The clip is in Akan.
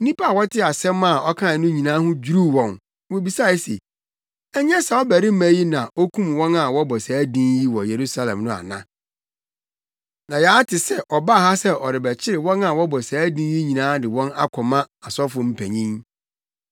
Nnipa a wɔtee asɛm a ɔkae no nyinaa ho dwiriw wɔn ma wobisae se, “Ɛnyɛ saa ɔbarima yi na na okum wɔn a wɔbɔ saa din yi wɔ Yerusalem no ana? Na yɛate sɛ ɔbaa ha sɛ ɔrebɛkyere wɔn a wɔbɔ saa din yi nyinaa de wɔn akɔma asɔfo mpanyin.”